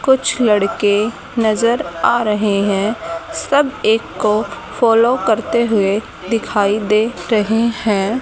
कुछ लड़के नजर आ रहे है सब एक को फॉलो करते हुए दिखाई दे रहे है।